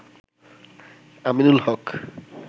Aminul Haque